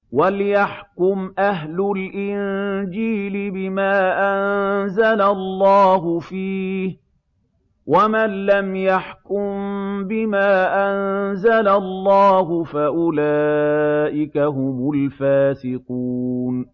وَلْيَحْكُمْ أَهْلُ الْإِنجِيلِ بِمَا أَنزَلَ اللَّهُ فِيهِ ۚ وَمَن لَّمْ يَحْكُم بِمَا أَنزَلَ اللَّهُ فَأُولَٰئِكَ هُمُ الْفَاسِقُونَ